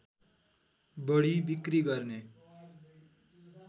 बढि बिक्री गर्ने